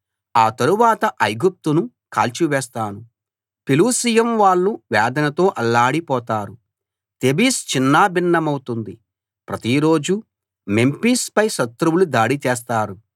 ఆ తరువాత ఐగుప్తును కాల్చివేస్తాను పెలుసియం వాళ్ళు వేదనతో అల్లాడిపోతారు తేబిస్ చిన్నాభిన్నమవుతుంది ప్రతిరోజూ మెంఫిస్ పై శత్రువులు దాడి చేస్తారు